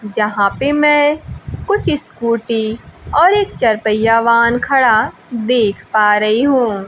जहां पे मैं कुछ स्कूटी और एक चर पहिया वाहन खड़ा देख पा रही हूं।